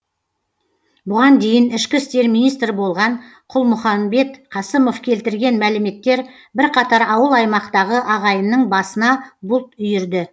бұған дейін ішкі істер министрі болған қалмұханбет қасымов келтірген мәліметтер бірқатар ауыл аймақтағы ағайынның басына бұлт үйірді